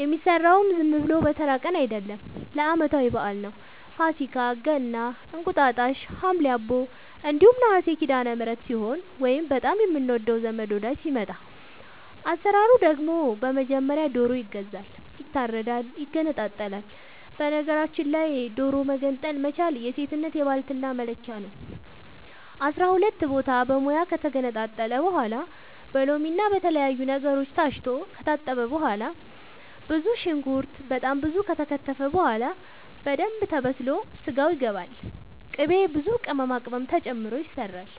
የሚሰራውም ዝም ብሎ በተራ ቀን አይደለም ለአመታዊ በአል ነው። ፋሲካ ገና እንቁጣጣሽ ሀምሌ አቦ እንዲሁም ነሀሴ ሲዳለምህረት ሲሆን ወይንም በጣም የምንወደው ዘመድ ወዳጅ ሲመጣ። አሰራሩ ደግሞ በመጀመሪያ ዶሮ ይገዛል ይታረዳል ይገነጣጠላል በነገራችል ላይ ዶሮ መገንጠል መቻል የሴትነት የባልትና መለኪያ ነው። አስራሁለት ቦታ በሙያ ከተገነጣጠለ በኋላ በሎምና በተለያዩ ነገሮች ታስቶ ከታጠበ በኋላ ብዙ ሽንኩርት በጣም ብዙ ከተከተፈ በኋላ በደንብ ተበስሎ ስጋው ይገባል ቅቤ ብዙ ቅመማ ቅመም ተጨምሮ ይሰራል